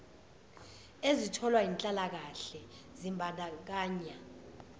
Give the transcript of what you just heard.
ezitholwa yinhlalakahle zimbandakanya